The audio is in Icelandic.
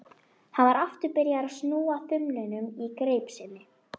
Hann var aftur byrjaður að snúa þumlunum í greip sinni.